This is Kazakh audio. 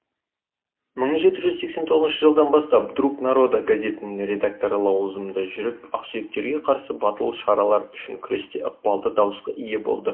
мың жеті жүз сексен тоғызыншы жылдан бастап друг народа газетінің редакторы лауазымында жүріп ақсүйектерге қарсы батыл шаралар үшін күресте ықпалды дауысқа ие болды